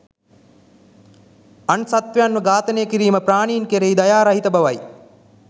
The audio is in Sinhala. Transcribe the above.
අන් සත්වයන්ව ඝාතනය කිරීම ප්‍රාණීන් කෙරෙහි දයා රහිත බවයි